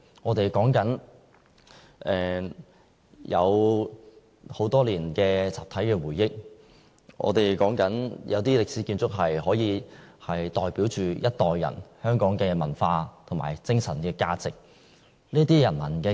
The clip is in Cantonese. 我們說的是很多年的集體回憶、一些歷史建築可以代表着一代人的香港文化和精神價值。